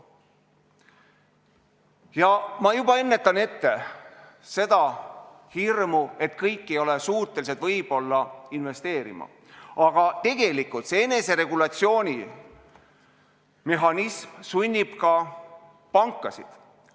Ja ma juba ennetan seda hirmu, et kõik võib-olla ei ole suutelised investeerima – tegelikult sunnib eneseregulatsiooni mehhanism tagant ka pankasid.